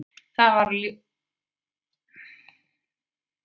Þetta varð ljóst eftir að Belgar unnu Ísrael í kvöld í undankeppni EM.